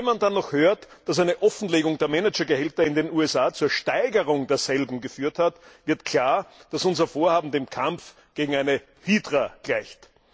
Wenn man dann noch hört, dass eine Offenlegung der Managergehälter in den USA zur Steigerung derselben geführt hat, wird klar, dass unser Vorhaben dem Kampf gegen eine Hydra gleicht.